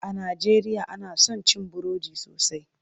A najeriya ana son cin burodi sosai.